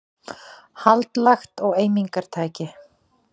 Hald lagt á eimingartæki